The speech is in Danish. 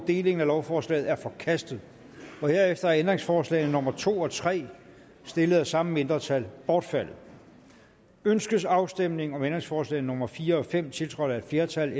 delingen af lovforslaget er forkastet herefter er ændringsforslag nummer to og tre stillet af samme mindretal bortfaldet ønskes afstemning om ændringsforslag nummer fire og fem tiltrådt af et flertal